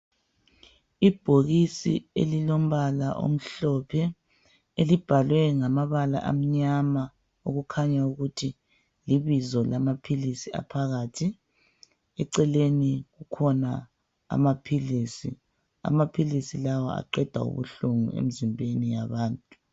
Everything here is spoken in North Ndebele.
Ibhokisi elilombala omhlophe elibhalwe ngamabala amnyama kukhanya ukuthi libizo lamaphilisi aphakathi. Eceleni kukhona amaphilisi, amaphilisi lawa aqeda ubuhlungu emzimbeni yabantu.